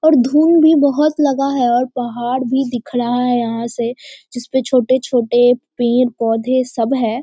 और धुंद भी बहुत लगा हैं और पहाड़ भी दिख रहा हैं जिसपे जिसपे छोटे - छोटे पेड़- पोधे सब हैं।